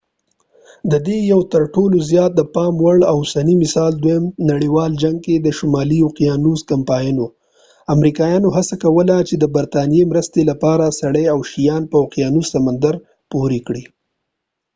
د دې یو تر ټولو زیات د پام وړ اوسنی مثال دویم نړیوال جنګ کې د شمالي اوقیانوس کمپاین و امریکایانو هڅه کوله چې د برطانیه مرستې لپاره سړي او شیان په اوقیانوس سمندر پورې کړي